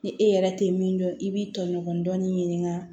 Ni e yɛrɛ tɛ min dɔn i b'i tɔɲɔgɔn dɔɔnin ɲini ka